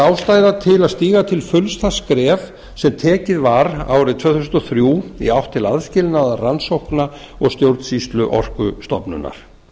ástæða til að stíga til fulls það skref sem tekið var árið tvö þúsund og þrjú í átt til aðskilnaðar rannsókna og stjórnsýslu orkustofnunar